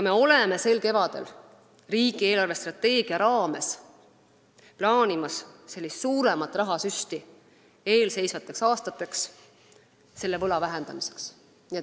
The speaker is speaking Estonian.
Me plaanime sel kevadel riigi eelarvestrateegia raames suuremat rahasüsti eelseisvateks aastateks selle võla vähendamiseks.